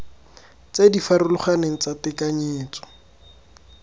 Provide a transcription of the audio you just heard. tse di farologaneng tsa tekanyetso